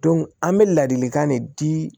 an bɛ ladilikan de di